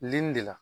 Li de la